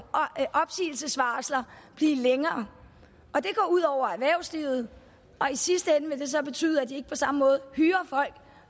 opsigelsesvarsler blive længere det går ud over erhvervslivet og i sidste ende vil det så betyde at de ikke på samme måde hyrer folk